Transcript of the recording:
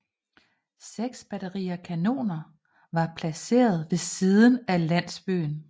Seks batterier kanoner var placeret ved siden af landsbyen